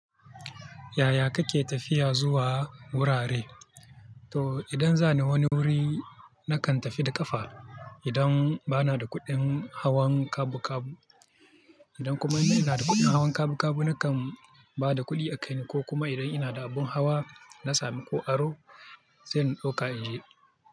Yaya kake tafiya zuwa wurare? To idan za ni wani wuri, na kan tafi da ƙafa idan ba na da kuɗin hawan kabu kabu. Idan kuma ina da kuɗin hawan kabu kabu, na kan ba da kuɗi a kai ni, ko kuma idan ina da abun hawa, na sami ko aro sai in 'ɗauka in je.